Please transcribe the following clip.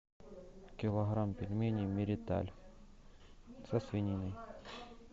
килограмм пельменей мириталь со свининой